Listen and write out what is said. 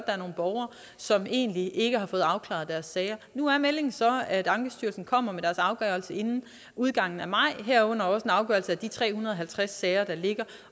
er nogle borgere som egentlig ikke har fået afklaret deres sager nu er meldingen så at ankestyrelsen kommer med deres afgørelse inden udgangen af maj herunder også en afgørelse af de tre hundrede og halvtreds sager der ligger